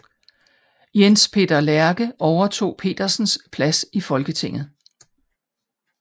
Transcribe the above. Jens Peter Lerke overtog Petersens plads i Folketinget